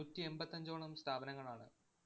നൂറ്റിഎമ്പത്തഞ്ചോളം സ്ഥാപനങ്ങളാണ്